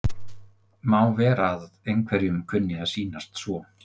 Má vera að einhverjum kunni að sýnast svo.